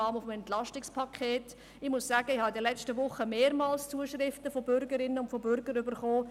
Ich muss sagen, ich habe in den letzten Wochen mehrmals Zuschriften von Bürgerinnen und Bürgern erhalten.